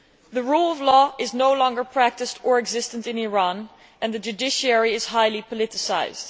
The Rule of Law is no longer practised or existent in Iran, and the judiciary is highly politicised.